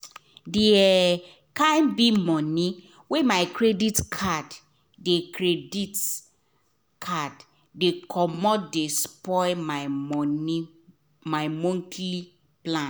d kind big money wey my credit card dey credit card dey commot de spoil my monthly plan